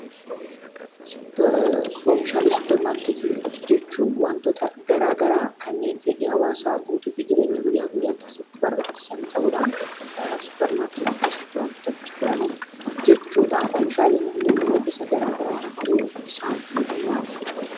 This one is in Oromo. Oomishaalee supermarketii jechuun oomishaalee garaa garaa kanneen fedhii hawwaasaa guutuuf jireenya hawwaasaa guyyaa guyyaa keessatti barbaachisan ta'uudhaan supermarketii keessatti gurguraman jechuu dha. Oomishaalee kunneen immoo gosa garaa garaatu jiru isaan kun maal fa'i?